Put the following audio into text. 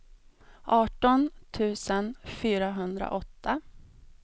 arton tusen fyrahundraåtta